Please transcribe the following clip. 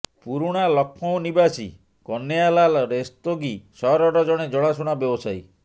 ପୁରୁଣା ଲକ୍ଷ୍ନୌ ନିବାସୀ କହ୍ନୈୟାଲାଲ ରସ୍ତୋଗୀ ସହରର ଜଣେ ଜଣାଶୁଣା ବ୍ୟବସାୟୀ